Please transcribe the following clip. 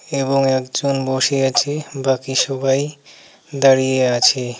এবং একজন বসে আছে বাকি সবাই দাঁড়িয়ে আছে।